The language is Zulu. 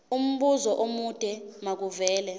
umbuzo omude makuvele